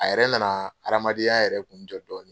A yɛrɛ na na hadamadenya yɛrɛ kun jɔ dɔɔni.